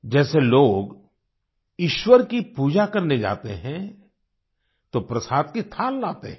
जैसे लोग ईश्वर की पूजा करने जाते हैं तो प्रसाद की थाल लाते हैं